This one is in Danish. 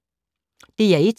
DR1